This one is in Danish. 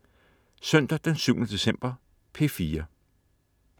Søndag den 7. december - P4: